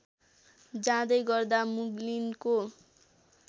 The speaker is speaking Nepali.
जाँदै गर्दा मुग्लिनको